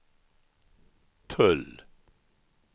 tull